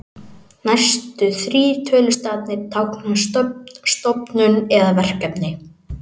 Næstu þrír tölustafirnir tákna stofnun eða verkefni.